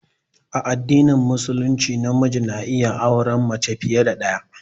A addinin Musulunci namiji na iya auran mace fiye da ɗaya.